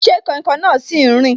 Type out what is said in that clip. Ṣé kainkain náà si n rin